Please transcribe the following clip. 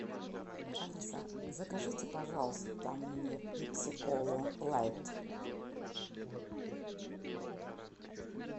алиса закажите пожалуйста мне пепси колу лайт